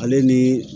Ale ni